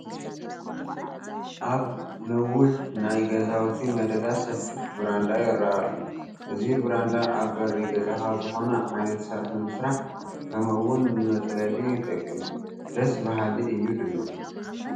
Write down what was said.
ኣብ ኒዊሕ ናይ ገዛውቲ መደዳ ሰፊሕ ብራንዳ ይርአ ኣሎ፡፡ እዚ ብራንዳ ኣብ በሪ ገዛኻ ዝኾነ ዓይነት ስራሕ ንምስራሕ ከምውን ንመፅለሊ ይጠቅም፡፡ ደስ በሃሊ እዩ ድማ፡፡